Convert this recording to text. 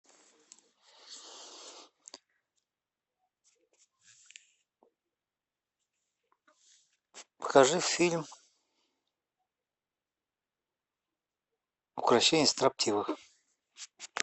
покажи фильм укрощение строптивой